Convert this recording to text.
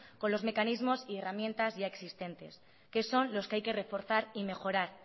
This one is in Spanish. con los mecanismos y herramientas ya existentes que son los que hay que reforzar y mejorar